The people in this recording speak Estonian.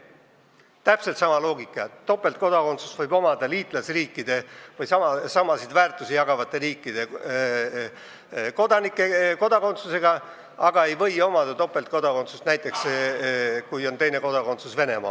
Loogika on täpselt sama: topeltkodakondsust võib omada liitlasriikide või samasid väärtusi jagavate riikidega, aga näiteks mitte siis, kui tegu on Venemaa kodakondsusega.